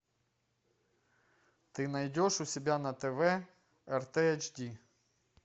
ты найдешь у себя на тв рт эйч ди